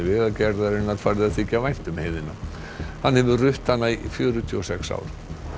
Vegagerðarinnar farið að þykja vænt um heiðina hann hefur rutt hana í fjörutíu og sex ár